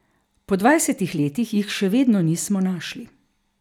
Po dvajsetih letih jih še vedno nismo našli.